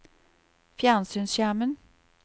fjernsynsskjermen